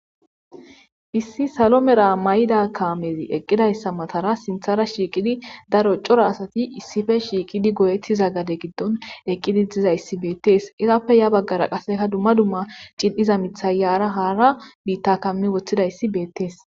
Issi salo mera may7ida kaamezi eqqidayssa matara sinthara shiiqidi daro cora asati issife shiiqidi goyettiza gade giddon eqqidi dizayssi beettees izappe ya baggara qaseka dumma dumma cil7iza mithayyaara haara biitta kammi woththidayssi beettees.